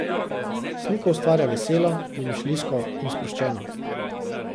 Sliko ustvarja veselo, domišljijsko in sproščeno.